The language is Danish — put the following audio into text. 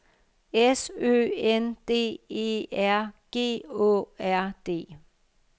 S Ø N D E R G Å R D